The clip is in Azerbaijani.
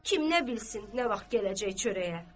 Kim nə bilsin nə vaxt gələcək çörəyə.